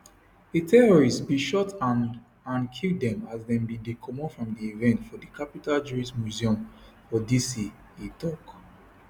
a terrorist bin shot and and kill dem as dem bin dey comot from di event for di capital jewish museum for dc e tok